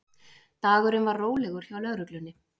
Dagurinn var rólegur hjá lögreglunni